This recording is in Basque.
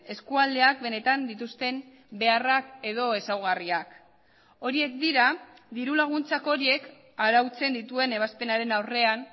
eskualdeak benetan dituzten beharrak edo ezaugarriak horiek dira diru laguntzak horiek arautzen dituen ebazpenaren aurrean